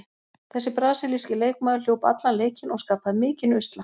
Þessi brasilíski leikmaður hljóp allan leikinn og skapaði mikinn usla.